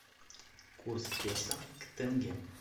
курс песо к тенге